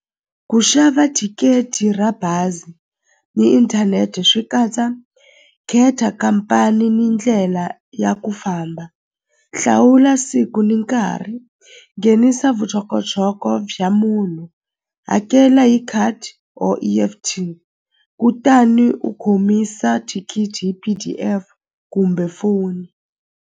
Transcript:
Ku xava thikithi ra bazi ni inthanete swi katsa khetha khampani ni ndlela ya ku famba hlawula siku ni nkarhi nghenisa vuxokoxoko bya munhu hakela hi khadi or E_F_T kutani u khomisa thikithi hi P_D_F kumbe foni.